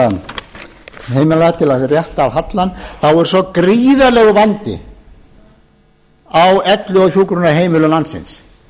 þessara heimila til að rétta af hallann það er svo gríðarlegur vandi á elli og hjúkrunarheimilum landsins